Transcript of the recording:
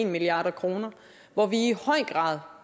milliard kr hvor vi i høj grad